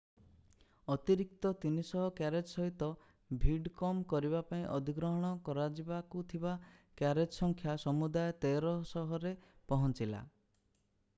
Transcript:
ଅତିରିକ୍ତ 300 କ୍ୟାରେଜ୍ ସହିତ ଭିଡ କମ୍ କରିବା ପାଇଁ ଅଧିଗ୍ରହଣ କରାଯିବାକୁ ଥିବା କ୍ୟାରେଜ୍ ସଂଖ୍ୟା ସମୁଦାୟ 1300 ରେ ପହଞ୍ଚିଲା